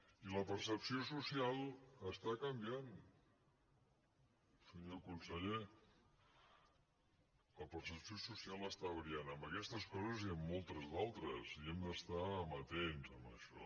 i la percepció social està canviant senyor conseller la percepció social està variant en aquestes coses i en moltes d’altres i hem d’estar amatents amb això